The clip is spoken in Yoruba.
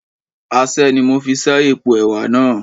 Aṣẹ́ ni mo fi ṣẹ́ èpo ẹwà náà